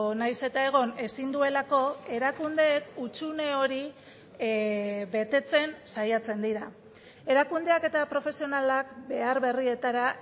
nahiz eta egon ezin duelako erakundeek hutsune hori betetzen saiatzen dira erakundeak eta profesionalak behar berrietara